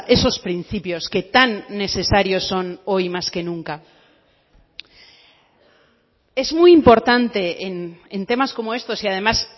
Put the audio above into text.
esos principios que tan necesarios son hoy más que nunca es muy importante en temas como estos y además